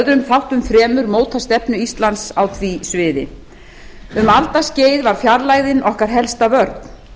öðrum þáttum fremur mótað stefnu íslands á því sviði um alda skeið var fjarlægðin okkar helsta vörn